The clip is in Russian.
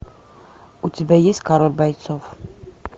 у тебя есть король бойцов